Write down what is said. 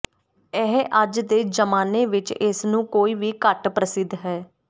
ਇਹ ਅੱਜ ਦੇ ਜ਼ਮਾਨੇ ਵਿਚ ਇਸ ਨੂੰ ਕੋਈ ਵੀ ਘੱਟ ਪ੍ਰਸਿੱਧ ਹੈ